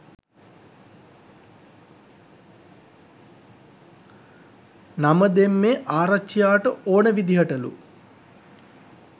නම දෙම්මෙ ආරච්චියාට ඕනෙ විදිහටලු